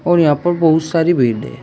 और यहां पर बहोत सारी भिड़ है।